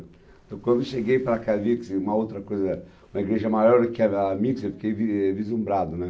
Então quando eu cheguei para cá e vi quer dizer, uma outra coisa, uma igreja maior do que era a minha quer dizer, eu fiquei vislumbrado, né?